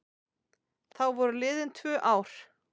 Þá voru liðin tvö ár.